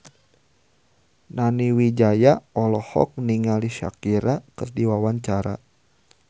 Nani Wijaya olohok ningali Shakira keur diwawancara